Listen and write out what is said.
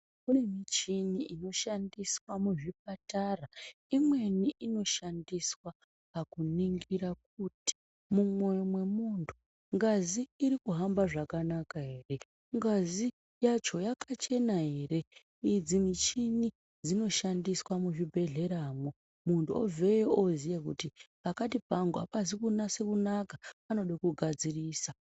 Kune muchini inoshandiswa muzvipatara imweni inoshandiswa pakuningira kuti mumwoyo mwemuntu kuti ngazi iri kuhamba zvakanaka ere. Ngazi yacho yakachena ere idzi michini dzinoshandiswa muzvibhedhleramwo muntu obveyo oziya kuti pakati pangu hapazi kunase kunaka panode kugadzirisa.